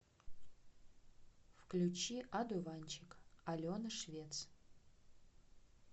включи одуванчик алена швец